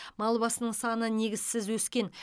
мал басының саны негізсіз өскен